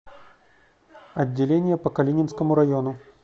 отделение по калининскому району